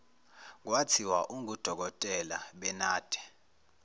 kwathiwa ungudokotela benade